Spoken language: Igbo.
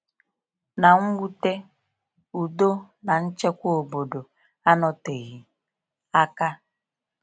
Na mnwute, udo na nchekwa obodo anọ teghị aka.